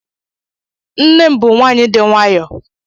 Nne m bu nwaanyị di nwayo.